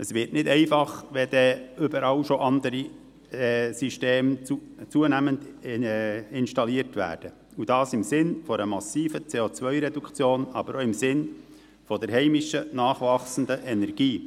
Es wird nicht einfacher, wenn dann überall schon andere Systeme zunehmend installiert werden – dies im Sinne einer massiven CO-Reduktion, aber auch im Sinne der heimischen, nachwachsenden Energie.